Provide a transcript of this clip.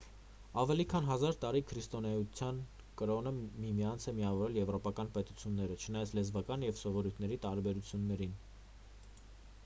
ավելի քան հազար տարի քրիստոնեություն կրոնը միմյանց է միավորել եվրոպական պետությունները չնայած լեզվական և սովորույթների տարբերություններին ես